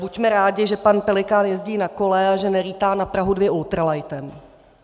Buďme rádi, že pan Pelikán jezdí na kole a že nelítá na Prahu 2 ultralightem.